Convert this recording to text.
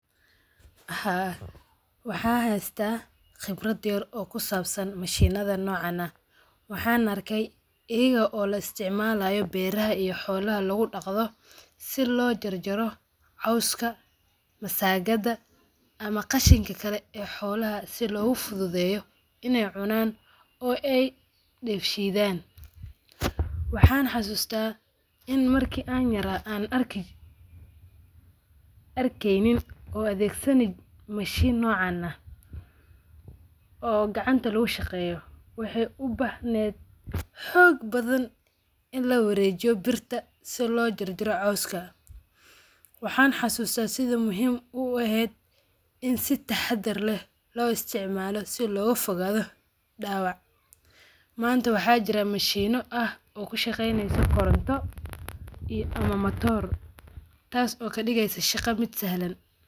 Ha, waxaan haystaa qibrad yar oo kusaabsan mashinadha noocan ah. Waxaan arkey iyaga oo laisticmalaayo beeraha iyo xoolaha lagudaqdo si loo jarjaro cowska masaagada ama qashinka kale ee xoolaha si loogufudhudheeyo in ey cunaan ey deef shidaan. Waxaan xasuusta in marki aan yaraa aan arkeynin oo adhegsani mashin mocaan ah oo gacanta lagushaqeyo waxey ubaahneed xoog badhan in lawareejiyo birta si loo jarjaro cowska. Waxaan xasuusta sidha muhiim ueheed in si taxadhar ah loo isticmala loo isticmala si looga fogaadha daawac. Manta maxaa jira mashiino ah oo kushaqeyneso koronto ama matoor taas oo kadigeysa shaqommid sahlan.